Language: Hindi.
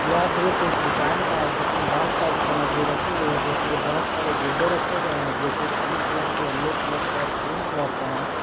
यह दृश्य एक दुकान का है जिसमें बहुत सारी सामग्री रखी गई है जैसे कि बहुत सारे गुड्डे रखे गए हैं जो कि पिंक कलर के येलो कलर के और क्रीम कलर के है।